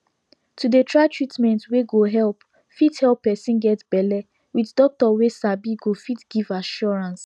to dey try treatment wey go help fit help person get belle with doctor wey sabi go fit give assurance